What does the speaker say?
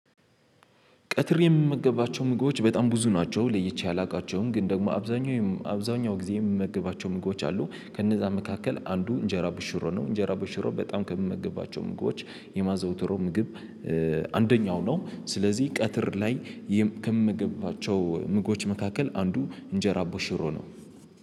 ቀትር የምመገባቸው ምግቦች በጣም ብዙ ናቸው ለይቼ አላውቃቸውም ግን ደግሞ አብዛኛው አብዛኛው ጊዜ የምመገባቸው ምግቦች አሉ ከነዛ መካከል አንዱ እንጀራ በሽሮ ነው። እንጀራ በሽሮ በጣም ከምመግባቸው ምግቦች የማዘውትረው ምግብ አንደኛው ነው። ስለዚህ ቀትር ላይ ከምመገባቸው ምግቦች መካከል አንዱ እንጀራ ቦሽሮ ነው።